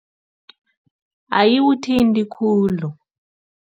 Ayiwuthinti khulu.